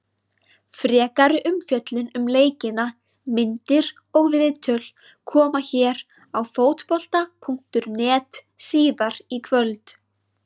Frekari umfjöllun um leikina, myndir og viðtöl, koma hér á Fótbolta.net síðar í kvöld.